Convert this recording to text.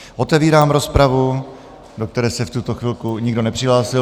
Otevírám rozpravu, do které se v tuto chvilku nikdo nepřihlásil.